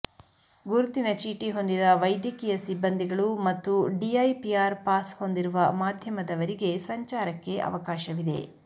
ಗುರುತನ ಚೀಟಿ ಹೊಂದಿದ ವೈದ್ಯಕೀಯ ಸಿಬ್ಬಂದಿಗಳು ಮತ್ತು ಡಿಐಪಿಆರ್ ಪಾಸ್ ಹೊಂದಿರುವ ಮಾಧ್ಯಮದವರಿಗೆ ಸಂಚಾರಕ್ಕೆ ಅವಕಾಶವಿದೆ